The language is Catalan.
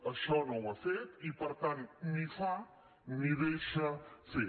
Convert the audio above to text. això no ho ha fet i per tant ni fa ni deixa fer